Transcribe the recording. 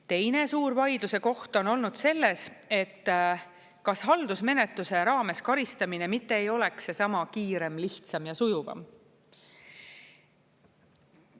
Teine suur vaidluse koht on olnud selles, et kas haldusmenetluse raames karistamine mitte ei oleks seesama kiirem, lihtsam ja sujuvam.